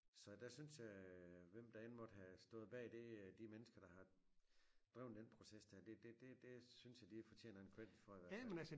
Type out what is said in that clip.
Så der synes jeg øh hvem der end måtte have stået bag det de mennesker der har dreven den process der det det det det synes jeg de fortjener en credit for i hvert fald